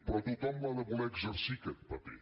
però tothom l’ha de voler exercir aquest paper